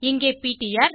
இங்கே பிடிஆர்